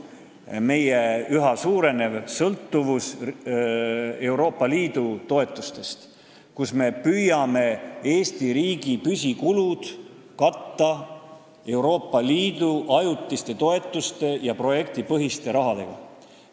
See on meie üha suurenev sõltuvus Euroopa Liidu toetustest, me püüame Eesti riigi püsikulusid katta Euroopa Liidu ajutiste toetustega ja projektipõhise rahaga.